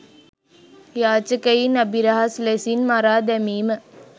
යාචකයින් අබිරහස් ලෙසින් මරා දැමීම